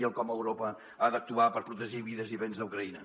i com euro·pa ha d’actuar per protegir vides i béns a ucraïna